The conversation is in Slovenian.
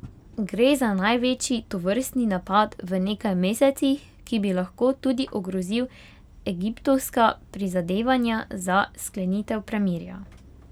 Gre za največji tovrstni napad v nekaj mesecih, ki bi lahko tudi ogrozil egiptovska prizadevanja za sklenitev premirja.